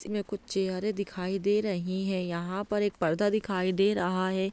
इसमें कुछ चैयरे दिखाई दे रही हैं| यहाँ पर एक पर्दा दिखाई दे रहा है।